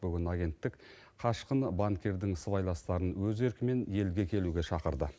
бүгін агенттік қашқын банкирдің сыбайластарын өз еркімен елге келуге шақырды